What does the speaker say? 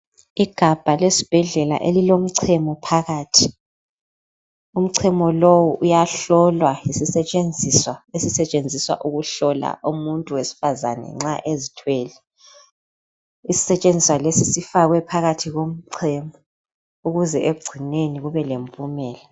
Igabha lesibhedlela elilomchemo phakathi, umchemo lowu uyahlolwa yisisetshenziswa esisetshenziswa ukuhlola umuntu wesifazane nxa ezithwele isisetshenziswa lesi sifakwe phakathi komchemo ukuze ekugcineni kube le mpumela.